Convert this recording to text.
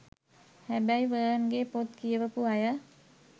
හැබැයි වර්න් ගේ පොත් කියවපු අය